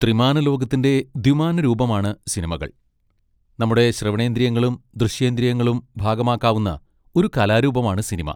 ത്രിമാന ലോകത്തിൻ്റെ ദ്വിമാന രൂപമാണ് സിനിമകൾ, നമ്മുടെ ശ്രവണേന്ദ്രിയങ്ങളും ദൃശ്യേന്ദ്രിയങ്ങളും ഭാഗഭാക്കാവുന്ന ഒരു കലാരൂപമാണ് സിനിമ.